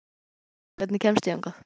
Þórunn, hvernig kemst ég þangað?